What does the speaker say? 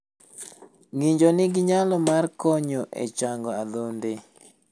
Ng'injo nigi nyalo mar konyo e chango adhonde.